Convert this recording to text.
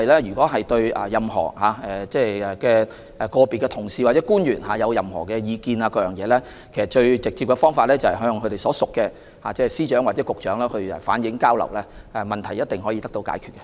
如果議員對個別同事或官員有任何意見，最直接的方法是向他們所屬的司長或局長反映，問題一定可以得到解決。